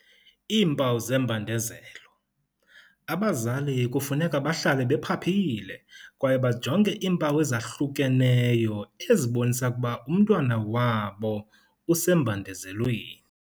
Iimpawu zembandezelo. Abazali kufuneka bahlale bephaphile kwaye bajonge iimpawu ezahlukeneyo ezibonisa ukuba umntwana wabo usembandezelweni.